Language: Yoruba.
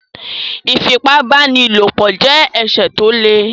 Ífipá-báni-lòpọ̀ jẹ́ ẹ̀ṣẹ̀ tó le